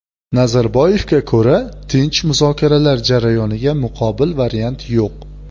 Nazarboyevga ko‘ra, tinch muzokaralar jarayoniga muqobil variant yo‘q.